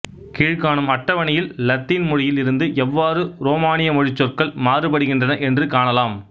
கீழ்க்காணும் அட்டவணையில் இலத்தீன் மொழியில் இருந்து எவ்வாறு உரோமானிய மொழிச் சொற்கள் மாறுபடுகின்றன என்று காணலாம்